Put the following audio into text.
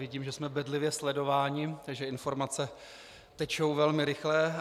Vidím, že jsme bedlivě sledováni, takže informace tečou velmi rychle.